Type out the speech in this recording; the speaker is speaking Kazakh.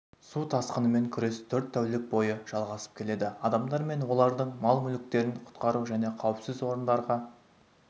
су тасқынымен күрес төрт тәулік бойы жалғасып келеді адамдар мен олардың мал-мүліктерін құтқару және қауіпсіз орындарға